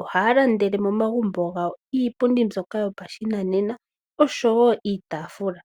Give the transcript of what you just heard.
ohaya landele komagumbo gawo iipundi yopashinanena osho wo iitaafula.